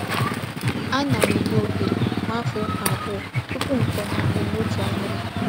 Ana m enye ohere mmafe ukwu abuo tupu m konye akpu notu ahiri.